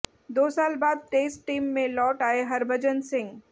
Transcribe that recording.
दो साल बाद टेस्ट टीम में लौट आए हरभजन सिंह